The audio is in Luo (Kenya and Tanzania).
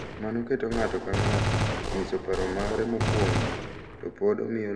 Mano keto ng’ato ka ng’ato nyiso paro mare mokuongo to pod omiyo luor gik ma ne odongogi.